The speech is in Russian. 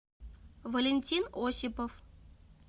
валентин осипов